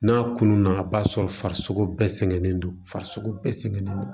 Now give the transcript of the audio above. N'a kunun na a b'a sɔrɔ farisoko bɛɛ sɛgɛnnen don farisogo bɛɛ sɛgɛnnen don